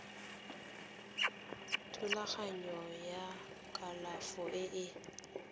thulaganyo ya kalafo e e